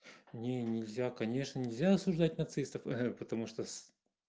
не нельзя конечно нельзя осуждать нацистов ага потому что с